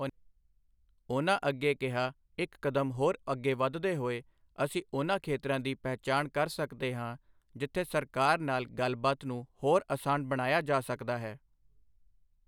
ਉਨ੍ਹਾਂ ਅੱਗੇ ਕਿਹਾ ਇੱਕ ਕਦਮ ਹੋਰ ਅੱਗੇ ਵਧਦੇ ਹੋਏ, ਅਸੀਂ ਉਨ੍ਹਾਂ ਖੇਤਰਾਂ ਦੀ ਪਹਿਚਾਣ ਕਰ ਸਕਦੇ ਹਾਂ ਜਿੱਥੇ ਸਰਕਾਰ ਨਾਲ ਗੱਲਬਾਤ ਨੂੰ ਹੋਰ ਅਸਾਨ ਬਣਾਇਆ ਜਾ ਸਕਦਾ ਹੈ।